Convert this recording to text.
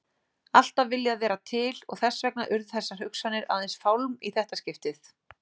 Alltaf viljað vera til og þess vegna urðu þessar hugsanir aðeins fálm í þetta skiptið.